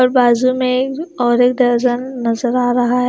और बाजु में एक और एक नजर आ रहा है।